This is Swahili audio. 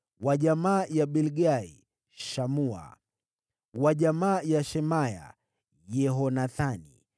wa jamaa ya Bilgai, Shamua; wa jamaa ya Shemaya, Yehonathani;